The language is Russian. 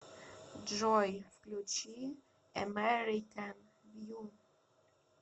джой включи эмэрикэн вью